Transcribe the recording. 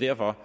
derfor